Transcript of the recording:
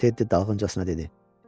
Teddi dalğıncasına dedi.